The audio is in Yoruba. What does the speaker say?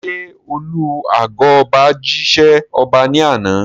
Ṣé alu ago ọba jí ṣẹ́ ọba ní àná?